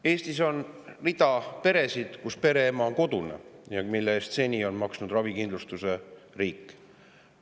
Eestis on rida peresid, kus pereema on kodune ja tema ravikindlustuse eest on seni maksnud riik.